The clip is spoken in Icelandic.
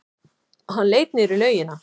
Hann leit niður í laugina.